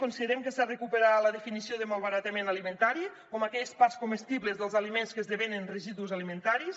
considerem que s’ha de recuperar la definició de malbaratament alimentari com aquelles parts comestibles dels aliments que esdevenen residus alimentaris